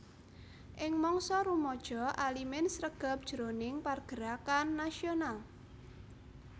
Ing mangsa rumaja Alimin sregep jroning pargerakan nasional